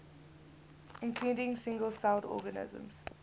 including single celled organisms